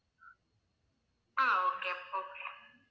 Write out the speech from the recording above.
ah okay okay